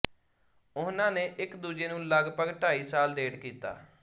ਉਹਨਾਂ ਨੇ ਇਕਦੂਜੇ ਨੂੰ ਲਗਭਗ ਢਾਈ ਸਾਲ ਡੇਟ ਕੀਤਾ